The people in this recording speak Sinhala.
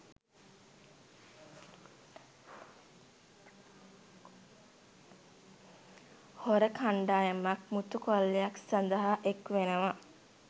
හොර කණ්ඩායමක් මුතු කොල්ලයක් සඳහා එක් වෙනවා.